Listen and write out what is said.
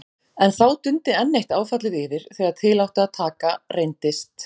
En þá dundi enn eitt áfallið yfir: þegar til átti að taka, reyndist